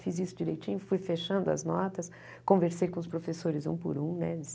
Fiz isso direitinho, fui fechando as notas, conversei com os professores um por um né eles.